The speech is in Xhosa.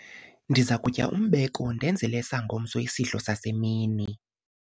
ndiza kutya umbeko ndenzele esangomso isidlo sasemini